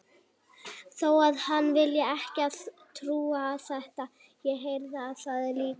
Þó að hann vilji ekki trúa á þetta, þá heyrði hann það líka.